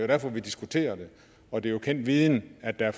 derfor vi diskuterer det og det er jo kendt viden at der